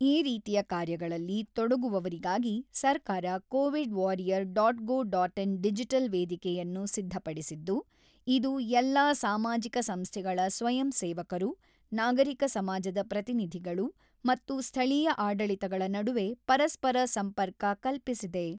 ಈ ರೀತಿಯ ಕಾರ್ಯಗಳಲ್ಲಿ ತೊಡಗುವವರಿಗಾಗಿ ಸರ್ಕಾರ ಕೋವಿಡ್ ವಾರಿಯರ್ ಡಾಟ್‌ಗೌಡಾಟ್‌ಇನ್ ಡಿಜಿಟಲ್ ವೇದಿಕೆಯನ್ನು ಸಿದ್ಧಪಡಿಸಿದ್ದು, ಇದು ಎಲ್ಲಾ ಸಾಮಾಜಿಕ ಸಂಸ್ಥೆಗಳ ಸ್ವಯಂ ಸೇವಕರು, ನಾಗರಿಕ ಸಮಾಜದ ಪ್ರತಿನಿಧಿಗಳು ಮತ್ತು ಸ್ಥಳೀಯ ಆಡಳಿತಗಳ ನಡುವೆ ಪರಸ್ಪರ ಸಂಪರ್ಕ ಕಲ್ಪಿಸಿದೆ.